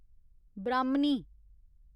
ब्राह्मणी